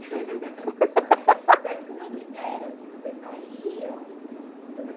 Mas como é que era, assim, vocês saíam?